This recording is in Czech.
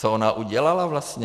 Co ona udělala vlastně?